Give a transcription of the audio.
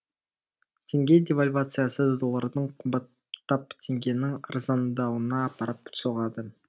теңге девальвациясы доллардың қымбаттап теңгенің арзандауына апарып соғады